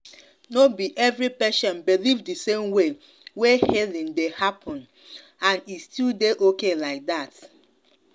no be every patient believe the same way wey healing dey happen and e still dey okay like that.